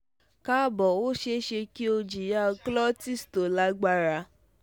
káàbọ̀ ó ṣe é ṣe kí o jìyà colitis tó lágbára